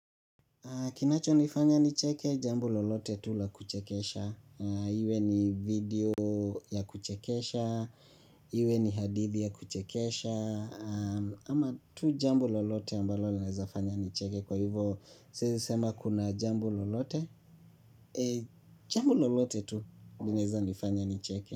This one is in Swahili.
Kinachonifanya nicheke, jambo lolote tu la kuchekesha. Iwe ni video ya kuchekesha, iwe ni hadithi ya kuchekesha, ama tu jambo lolote ambalo linaweza fanya nicheke. Kwa hivyo, siwezi sema kuna jambo lolote, jambo lolote tu linaweza nifanya nicheke.